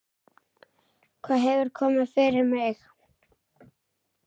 Hvað hefur komið fyrir mig?